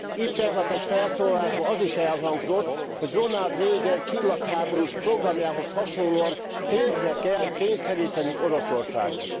Itt tegnap egy felszólalásban az is elhangzott, hogy Ronald Reagan csillagháborús programjához hasonlóan térdre kell kényszerítenünk Oroszországot.